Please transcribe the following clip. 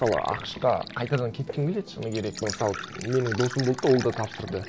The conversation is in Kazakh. мысалы ақш қа қайтадан кеткім келеді шыны керек мысалы менің досым болды да ол да тапсырды